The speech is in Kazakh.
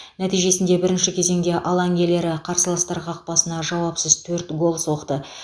нәтижесінде бірінші кезеңде алаң иелері қарсыластар қақпасына жауапсыз төрт гол соқты